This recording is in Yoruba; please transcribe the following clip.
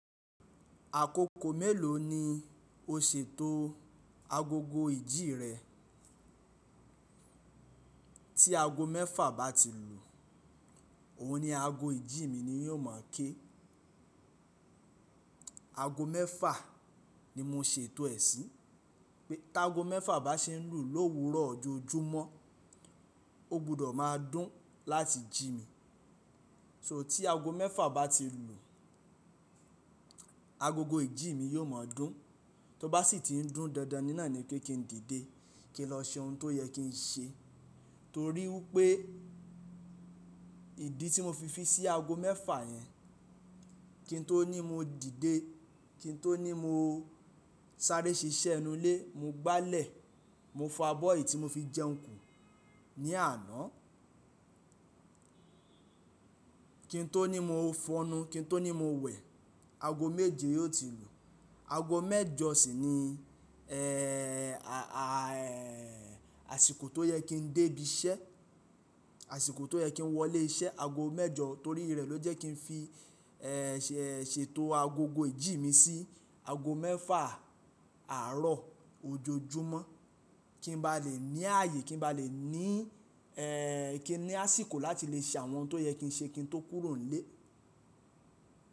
Àkókò mélòó ni o ṣètò agogo ìjí rẹ? Tí aago mẹ́fà bá ti lù, òun ni aago ìjí mi ni yó mọ̀ ké. Aago mẹ́fà ni mo ṣètò ẹ̀ sí. Pé tí aago mẹ́fà bá ṣe ń lù l'òwúrọ̀ ojoojúmọ́, o gbọdọ̀ máa dún láti jí mi. So tí aago mẹ́fà bá ti lù, agogo ìjí mi yó mọ̀ dún. Tó bá sì ti ń dún dándan ní náà ni pé kí n dìde, kí n lọ ṣe ohun tó yẹ kí n ṣe. Torí wípé ìdí tí mo fi fi sí aago mẹ́fà yẹn, kí n tó ní mo dìde, kí n tó ní mo sáré ṣiṣẹ́ inú ilé, mo gbálẹ̀, mo fọ abọ́ ì tí mo fi jẹun kù ní àná. Kí n tó ní mo fọnu, kí n tó ní mo wẹ̀, aago méje yó ti lù. Aago mẹ́jọ ṣì ni, ẹ́, àsìkò tó yẹ kí n dé ibi iṣẹ́, àsìkò tó yẹ kí n wọlé iṣẹ́, aago mẹ́jọ torí rẹ̀ ló jẹ́ kí n fi, ẹ́, ṣètò agogo ìjí mi sí aago mẹ́fà àárọ̀ ojoojúmọ́. Kí n bá lè ní ààyè, kí n bá lè ní, ẹ́, kí n ní àsìkò láti lè ṣe àwọn ohun tó yẹ kí n ṣe kí n tó kúrò nílé.